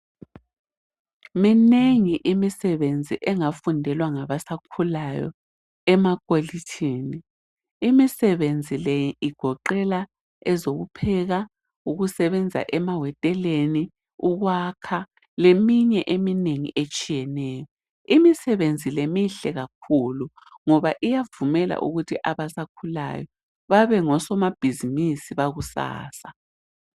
Minengi imisebenzi engafundelwa ngabasakhukayo emakolitshini. Imisebenzi le igoqela ezokupheka, ukusebenza emahoteleni, ukwakha leminye eminengi etshiyeneyo. Imisebenzi le mihle kakhulu ngoba iyavumela abasakhulayo bebe ngosimabhizimusi bakusasa.